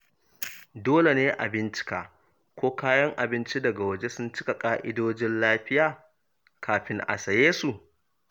Dole ne a bincika ko kayan abinci daga waje sun cika ƙa’idojin lafiya kafin a saye su.